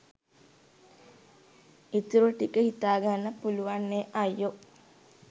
ඉතුරු ටික හිතාගන්න පුළුවන් නෙ අයියෝ